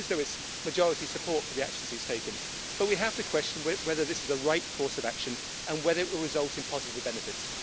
he knows there is majority support for the actions he's taken but we have to question whether this is the right course of action and whether it will result in positive benefits.